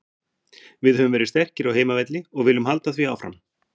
Við höfum verið sterkir á heimavelli og viljum halda því áfram.